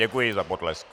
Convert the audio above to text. Děkuji za potlesk.